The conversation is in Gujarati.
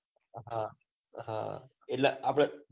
હા હ એટલે આપડ